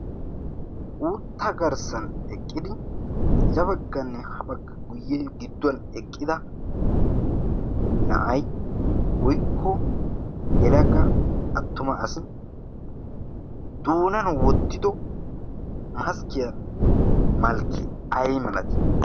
uutta garssan eqqidi zabagganne habagga guyye gidduwan eqqida na'ai oikko yelaga attuma asi tuunan wottido maaskkiyaa malkki ai malatii?